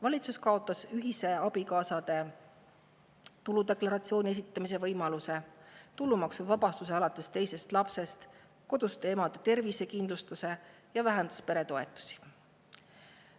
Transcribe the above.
Valitsus on ära kaotanud abikaasade ühise tuludeklaratsiooni esitamise võimaluse, tulumaksuvabastuse alates teisest lapsest, koduste emade tervisekindlustuse ja vähendanud peretoetusi.